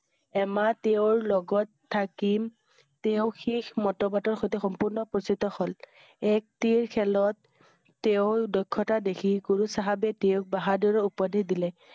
এমাহ তেওঁৰ লগত থাকি তেওঁ শিখ মতবত ৰ সৈতে সম্পূৰ্ণ উপস্থিত হল। এক তিৰ খেলত তেওঁৰ দক্ষতা দেখি গুৰু চাহাবে তেওঁক বাহাদুৰ উপাধি দিলে।